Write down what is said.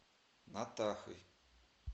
натахой